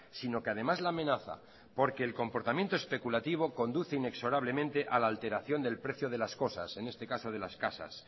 sino que además la amenaza porque el comportamiento especulativo conduce inexorablemente a la alteración del precio de las cosas en este caso de las casas